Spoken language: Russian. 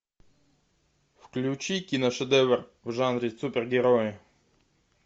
включи киношедевр в жанре супергерои